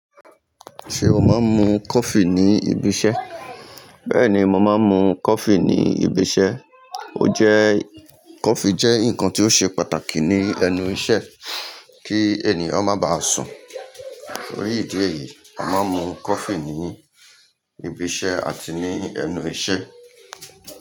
Ṣé o máa ń mu coffee ní ibi iṣẹ́? Bẹ́ẹ̀ni, mo máa ń mu coffee ní ibi iṣẹ́. O jẹ́ coffee jẹ́ nǹkan tó ṣe pàtàkì ní ẹnu iṣẹ́ kí ènìyàn má ba à sùn. Nítorí ìdí èyí, a máa ń mu coffee ní ibi iṣẹ́ àti ní ẹnu iṣẹ́.